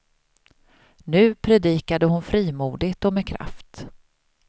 Nu predikade hon frimodigt och med kraft.